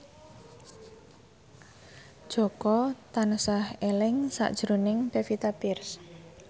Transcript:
Jaka tansah eling sakjroning Pevita Pearce